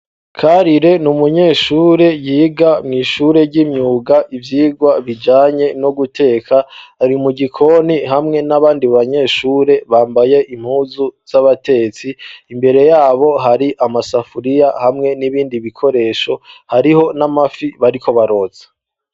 karire ni umunyeshure yiga mw'ishure ishure ry'imyuga ivyigwa bijanye no guteka hari mu gikoni hamwe n'abandi banyeshure bambaye impuzu z'abatetsi imbere yabo hari amasafuriya hamwe n'ibindi bikoresho hariho n'amafi bariko barotsa